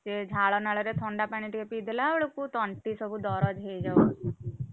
ସେ ଝାଳନାଳରେ ଥଣ୍ଡା ପାଣି ଟିକେ ପିଇ ଦେଲା ବେଳକୁ ତଣ୍ଟି ସବୁ ଦରଜ ହେଇଯାଉଛି।